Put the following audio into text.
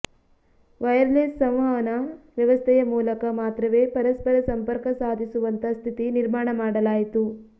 wireless ಸಂವಹನ ವ್ಯವಸ್ಥೆಯ ಮೂಲಕ ಮಾತ್ರವೇ ಪರಸ್ಪರ ಸಂಪರ್ಕ ಸಾಧಿಸುವಂಥ ಸ್ಥಿತಿ ನಿರ್ಮಾಣ ಮಾಡಲಾಯಿತು